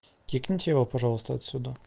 кикнуть его пожалуйста отсюда